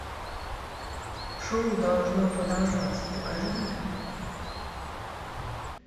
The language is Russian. шоу должно продолжаться покажи мне